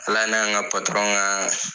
Ala n'an ka ka